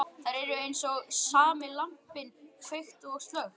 Þær eru eins og sami lampinn, kveikt og slökkt.